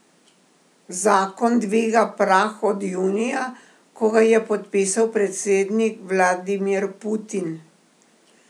Zakon dviga prah od junija, ko ga je podpisal predsednik Vladimir Putin.